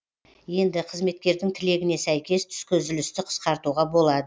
енді қызметкердің тілегіне сәйкес түскі үзілісті қысқартуға болады